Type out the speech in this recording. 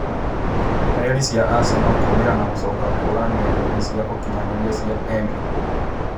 Ndũmĩrĩri cia Aseno kũũmĩra na gucoka kũũra ng'enda-inĩ cia ũkinyanĩria cia Emiri.